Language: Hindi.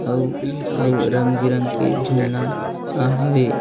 अउ अउ रंग-बिरंग के झुलना आ हवे।